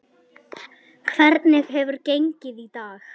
Hvernig hefur gengið í dag?